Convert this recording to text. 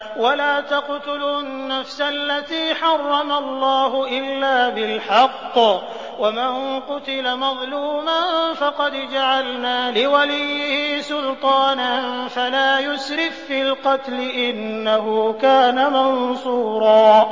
وَلَا تَقْتُلُوا النَّفْسَ الَّتِي حَرَّمَ اللَّهُ إِلَّا بِالْحَقِّ ۗ وَمَن قُتِلَ مَظْلُومًا فَقَدْ جَعَلْنَا لِوَلِيِّهِ سُلْطَانًا فَلَا يُسْرِف فِّي الْقَتْلِ ۖ إِنَّهُ كَانَ مَنصُورًا